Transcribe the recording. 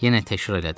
Yenə təkrar elədim.